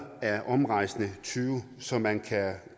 af omrejsende tyve så man kan